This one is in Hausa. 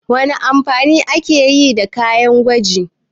Wana amfani ake yi da kayan gwari?